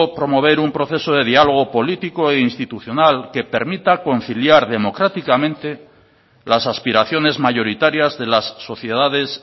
promover un proceso de diálogo político e institucional que permita conciliar democráticamente las aspiraciones mayoritarias de las sociedades